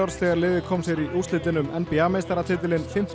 þegar liðið kom sér í úrslitin um n b a meistaratitilinn fimmta